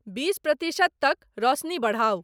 बीस प्रतिशत तक रोसनी बढाउ ।